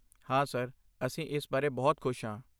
ਹਾਂ ਸਰ, ਅਸੀਂ ਇਸ ਬਾਰੇ ਬਹੁਤ ਖੁਸ਼ ਹਾਂ।